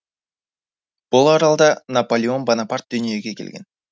бұл аралда наполеон бонапарт дүниеге келген